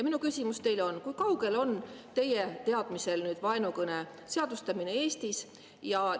Minu küsimus teile on: kui kaugel on teie teadmiste põhjal vaenukõne seadustamine Eestis?